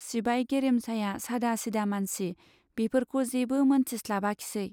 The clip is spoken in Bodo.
सिबाय गेरेमसाया सादा सिदा मानसि, बेफोरखौ जेबो मोनथिस्लाबाखिसै।